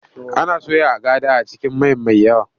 Ana soya agada a cikin mai mai yawa.